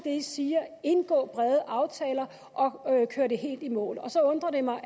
i siger indgå brede aftaler og kør det helt i mål så undrer det mig